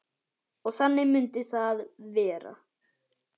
Og þannig myndi það vera.